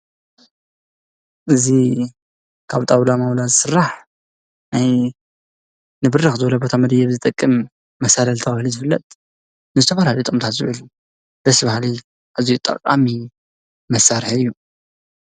እዚ ካብ ጣውላ ዝስስራሕ እግሪ መደየቢ ዝጠቅም መሳለል ተባሂሉ ዝፍለጥንዝተፈላለዩ ጠቅምታት ዝውዕል እዩ፣ ኣዝዩ ጠቃሚ መሳሪሒ እዩ።